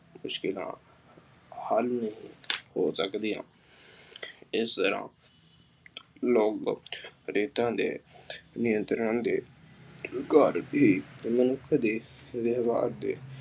ਮੁਸ਼ਕਿਲਾਂ ਬਹਾਲ ਨਹੀਂ ਹੋ ਸਕਦੀਆਂ। ਇਸ ਤਰ੍ਹਾਂ ਲੋਕ ਰੀਤਾਂ ਦੇ ਨਿਯੰਤਰਣ ਦੇ ਮਨੁੱਖ ਦੇ ਵਿਵਹਾਰ ਦੇ